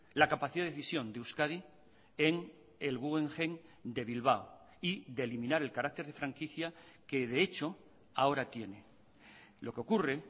la capacidad de decisión de euskadi en el guggenheim de bilbao y de eliminar el carácter de franquicia que de hecho ahora tiene lo que ocurre